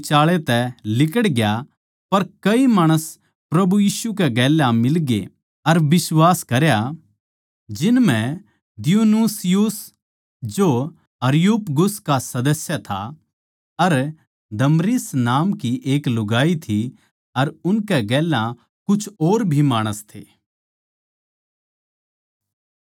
पर कई माणस प्रभु यीशु कै गेल्या मिलगे अर बिश्वास करया जिन म्ह दियुनुसियुस जो अरियुपगुस का सदस्य था अर दमरिस नामकी एक लुगाई थी अर उनकै गेल्या कुछ और भी माणस थे